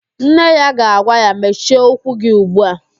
Nne ya ga-agwa ya, mechie ụkwụ gị ugbu a!